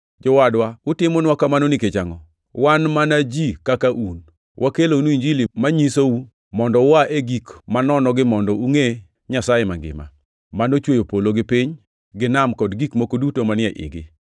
“Jowadwa, utimonwa kamano nikech angʼo? Wan mana ji kaka un. Wakelonu Injili manyisou mondo ua e gik manonogi mondo ungʼe Nyasaye Mangima, manochweyo polo gi piny gi nam kod gik moko duto manie igi.